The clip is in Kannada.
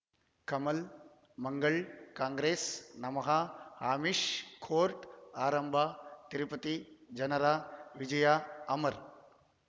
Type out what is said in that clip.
ಕಮಲ್ ಮಂಗಳ್ ಕಾಂಗ್ರೆಸ್ ನಮಃ ಅಮಿಷ್ ಕೋರ್ಟ್ ಆರಂಭ ತಿರುಪತಿ ಜನರ ವಿಜಯ ಅಮರ್